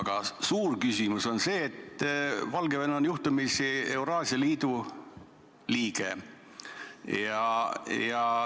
Aga minu suur küsimus lähtub sellest, et Valgevene on juhtumisi Euraasia Liidu liige.